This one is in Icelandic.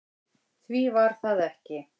Því var það ekki